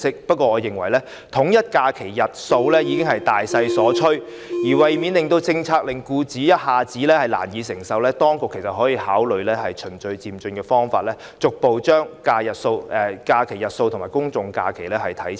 但是，我認為統一假期的日數已是大勢所趨，為免政策令僱主一下子難以承受，當局可以考慮以循序漸進方式，逐步把法定假日和公眾假期的日數看齊。